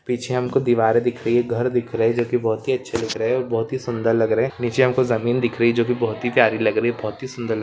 पीछे हमको दीवार दिख रही है घर दिख रहा है जो की बहुत ही अच्छे दिख रहे है और बहुत ही सुंदर लग रहे है निचे हमको जमीन दिख रही है जो की बहुत ही प्यारी लग रही बहुत ही सुन्दर लग --